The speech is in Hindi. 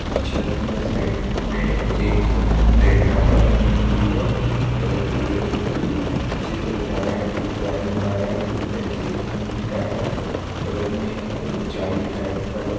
टीचर उधर साइड मे एक सफेद कलर का कपडा पहने हुई हैं बगल पे कोई चित्र बना रहा हैं कोई ड्रॉइंग बना रहा हैं कोई पेंसिल हाथ मे लिया हैं बगल मे आ जाली टाइप का लगा --